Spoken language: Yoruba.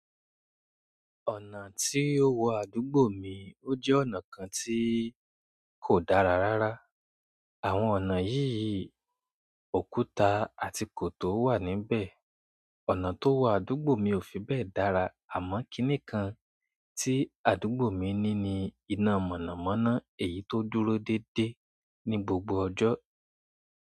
Ọ̀nà tí ó wọ àdúgbò mi ó jẹ́ ọ̀nà kan tí kò dára rárá. Àwọn ọ̀nà yìí òkúta àti kòtó wà níbẹ̀. Ọ̀nà tó wọ àdúgbò mi ò fi bẹ́ẹ̀ dára, àmọ́ kíní kan tí àdúgbò mi ní ni iná mọ̀nàmọ́ná èyí tó dúró déédéé ní gbogbo ọjọ́.